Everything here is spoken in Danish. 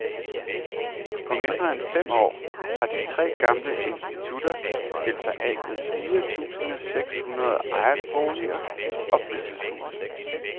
På mindre end fem år har de tre gamle institutter skilt sig af med fire tusinde seks hundrede ejerboliger og fritidshuse.